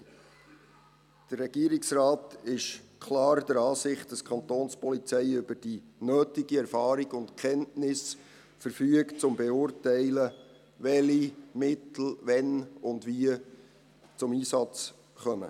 Der Regierungsrat ist klar der Ansicht, dass die Kapo über die nötige Erfahrung und Kenntnis verfügt, um zu beurteilen, welche Mittel wann und wie zum Einsatz kommen.